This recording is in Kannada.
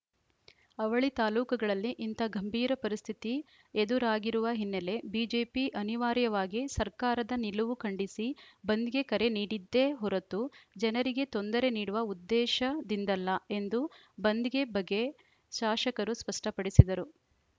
ಅವಳಿ ತಾಲೂಕುಗಳಲ್ಲಿ ಇಂಥ ಗಂಭೀರ ಪರಿಸ್ಥಿತಿ ಎದುರಾಗಿರುವ ಹಿನ್ನೆಲೆ ಬಿಜೆಪಿ ಅನಿವಾರ್ಯವಾಗಿ ಸರ್ಕಾರದ ನಿಲುವು ಖಂಡಿಸಿ ಬಂದ್‌ಗೆ ಕರೆ ನೀಡಿದ್ದೇ ಹೊರತು ಜನರಿಗೆ ತೊಂದರೆ ನೀಡುವ ಉದ್ದೇಶದಿಂದಲ್ಲ ಎಂದು ಬಂದ್‌ಗೆ ಬಗೆ ಶಾಸಕರು ಸ್ಪಷ್ಟಪಡಿಸಿದರು